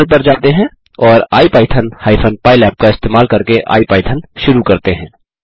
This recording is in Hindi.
टर्मिनल पर जाते हैं और इपिथॉन हाइफेन पाइलैब का इस्तेमाल करके आईपाइथन शुरू करते हैं